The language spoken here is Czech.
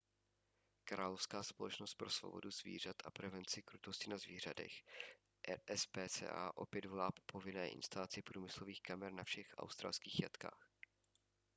královská společnost pro svobodu zvířat a prevenci krutosti na zvířatech rspca opět volá po povinné instalaci průmyslových kamer na všech australských jatkách